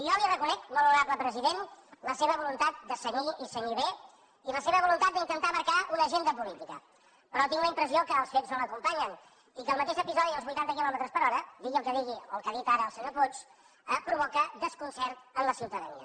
jo li reconec molt honorable president la seva voluntat de cenyir i cenyir bé i la seva voluntat d’intentar marcar una agenda política però tinc la impressió que els fets no l’acompanyen i que el mateix episodi dels vuitanta quilòmetres per hora digui el que digui o el que ha dit ara el senyor puig provoca desconcert en la ciutadania